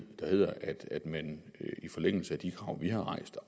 der hedder at man i forlængelse af de krav vi har rejst og